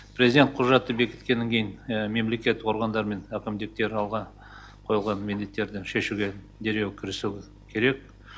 президент құжатты бекіткеннен кейін мемлекет органдар мен әкімдіктер алға қойылған міндеттерді шешуге дереу кірісу керек